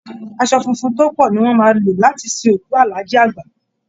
Aṣọ funfun tó pọ ni wọ́n máa lò láti sin òkù Alhaji Àgbà